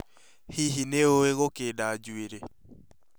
Hihi nĩ ũĩ gũkenda njuĩrĩ?